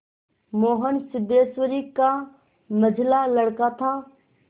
मोहन सिद्धेश्वरी का मंझला लड़का था